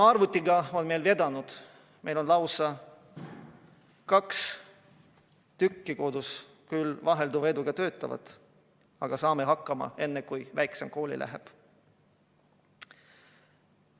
Arvutiga on perel vedanud, neil on lausa kaks tükki kodus, küll vahelduva eduga töötavad, aga saavad hakkama, enne kui väiksem kooli läheb.